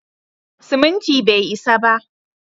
Siminti bai isa ba.